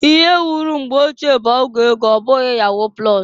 Ihe wuru mgbe ochie bu ọgwụ ego ọbụghị yahu plọs.